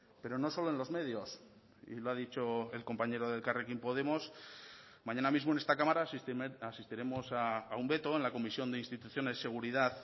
pero no solo en los medios y lo ha dicho el compañero de elkarrekin podemos mañana mismo en esta cámara asistiremos a un veto en la comisión de instituciones seguridad